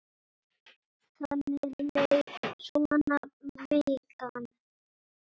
Þannig leið svo vikan.